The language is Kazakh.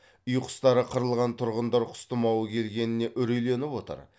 үй құстары қырылған тұрғындар құс тұмауы келгеніне үрейленіп отыр